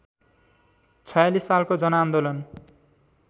०४६ सालको जनआन्दोलन